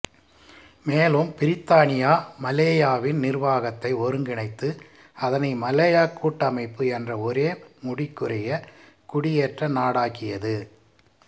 மேலும் பிரித்தானியா மலாயாவின் நிருவாகத்தை ஒருங்கிணைத்து அதனை மலாயாக் கூட்டமைப்பு என்ற ஒரே முடிக்குரிய குடியேற்ற நாடாக்கியது